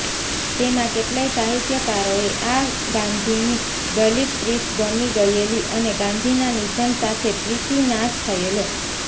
તેમાં કેટલાય સાહિત્યકારોને આ ગાંધીની દલિતપ્રીતિ ગમી ગયેલી અને ગાંધીના નિધન સાથે પ્રીતિનાશ થયેલો